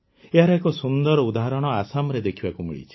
ଏହାର ଏକ ସୁନ୍ଦର ଉଦାହରଣ ଆସାମରେ ଦେଖିବାକୁ ମିଳିଛି